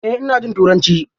Eh ina jin turanci.